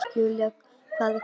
Julia, hvað er klukkan?